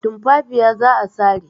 Tumfafiya za a sare.